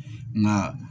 Nka